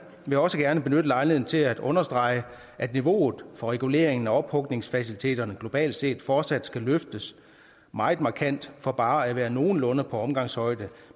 vil også gerne benytte lejligheden til at understrege at niveauet for reguleringen af ophugningsfaciliteterne globalt set fortsat skal løftes meget markant for bare at være nogenlunde på omgangshøjde